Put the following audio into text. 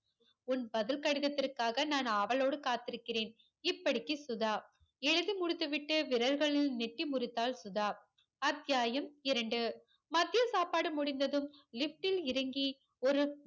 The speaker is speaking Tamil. உன் பதில் கடிதத்திற்காக நான் ஆவளோடு காத்துருக்கிறேன் இப்படிக்கு சுதா எழுதி முடித்துவிட்டு விரல்களில் நெட்டி முறித்தாள் சுதா அத்தியாயம் இரண்டு மத்திய சாப்பாடு முடிந்ததும் lift ல் இறங்கி ஒரு